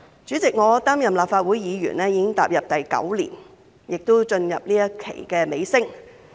主席，我擔任立法會議員已經第九年，亦進入這一屆任期的尾聲。